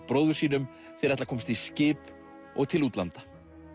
bróður sínum þeir ætla að komast í skip og til útlanda